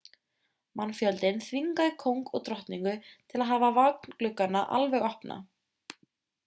mannfjöldinn þvingaði kóng og drottningu til að hafa vagngluggana alveg opna